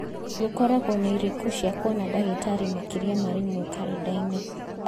gũkoragwo na irĩko cia kũona ndagĩtarĩ makĩria ma rĩmwe karenda-inĩ